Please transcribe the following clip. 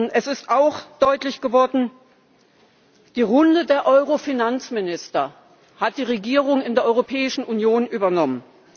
Es ist auch deutlich geworden Die Runde der Euro Finanzminister hat die Regierung in der Europäischen Union übernommen.